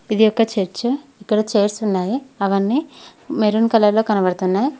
ఇది ఒక చర్చు ఇక్కడ చైర్స్ ఉన్నాయి అవన్నీ మెరూన్ కలర్ లో కనబడుతున్నాయి.